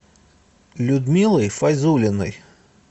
людмилой файзулиной